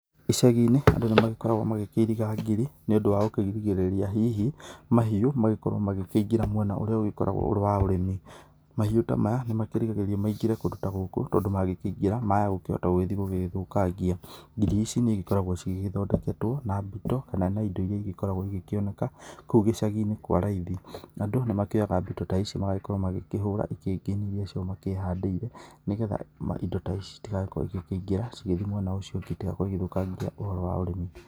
Icagi-inĩ andũ nĩmagĩkoragwo magĩkĩiriga ngiri nĩũndũ wa gũkĩgirĩrĩria hihi mahiũ magĩkorwo magĩkĩingĩra mwena ũyũ ũrĩa ũgĩkoragwo ũrĩ wa ũrĩmi. Mahiũ ta maya nĩmakĩgiragĩrĩrio maingĩre kũndũ ta gũkũ tondũ mangĩkĩingĩra maya mahota gũgĩthiĩ gũgĩthũkangia. Ngiri ici nĩigĩkoragwo cigĩthondeketwo na mbĩto kana na indo iria igĩkoragwo igĩkioneka kũu gĩcagi-inĩ kwa raithi. Andũ nĩmakĩoyaga mbĩto ta ici magagĩkorwo magĩkĩhũra ikĩngi iria icio makĩhandire nĩgetha indo ta ici itigakorwo igĩkĩingira cigĩthiĩ mwena ucio itagakorwo cigĩthũkangia ũhoro wa ũrimi.